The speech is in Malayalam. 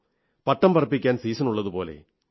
പട്ടം പറപ്പിക്കാൻ സീസണുള്ളതുപോലെ